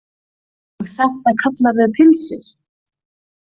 Og þetta kallarðu pylsur?